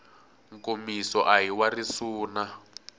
nkomiso a hi wa risuna